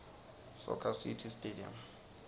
soccer city stadium